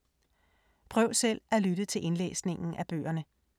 Prøv selv at lytte til indlæsningen af bøgerne.